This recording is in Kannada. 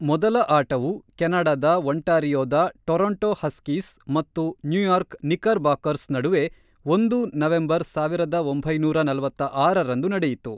ಮೊದಲ ಆಟವು ಕೆನಡಾದ ಒಂಟಾರಿಯೋದ ಟೊರೊಂಟೊ ಹಸ್ಕೀಸ್ ಮತ್ತು ನ್ಯೂಯಾರ್ಕ್ ನಿಕ್ಕರ್‌ಬಾಕರ್ಸ್ ನಡುವೆ ಒಂದು ನವೆಂಬರ್ ಸಾವಿರದ ಒಂಬೈನೂರ ನಲವತ್ತ್ ಆರರಂದು ನಡೆಯಿತು.